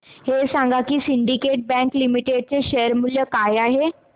हे सांगा की सिंडीकेट बँक लिमिटेड चे शेअर मूल्य काय आहे